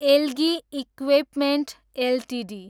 algae equipments Ltd